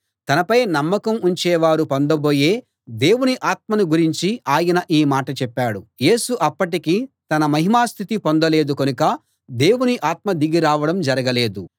తనపై నమ్మకం ఉంచేవారు పొందబోయే దేవుని ఆత్మను గురించి ఆయన ఈ మాట చెప్పాడు యేసు అప్పటికి తన మహిమా స్థితి పొందలేదు కనుక దేవుని ఆత్మ దిగి రావడం జరగలేదు